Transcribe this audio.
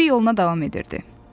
Bembi yoluna davam edirdi.